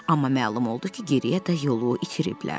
Amma məlum oldu ki, geriyə də yolu itiriblər.